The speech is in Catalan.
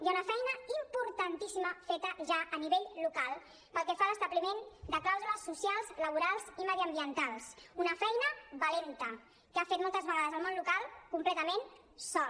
hi ha una feina importantíssima feta ja a nivell local pel que fa a l’establiment de clàusules socials laborals i mediambientals una feina valenta que ha fet moltes vegades el món local completament sol